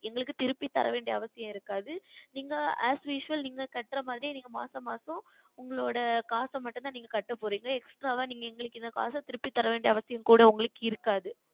எங்களுக்கு திருப்பி தரவேண்டிய அவசியம் இருக்காது நீங்கள் Asusual நீங்கள் கட்டுவது போல் மாதம் மாதம் உங்களுடைய காசு மட்டும் தான் நீங்கள் கட்டப்போகிறீர்கள் Extra வ நீங்கள் எந்த காசும் எங்களுக்கு திருப்பி தர வேண்டிய அவசியம் கூட உங்களுக்கு இருக்காது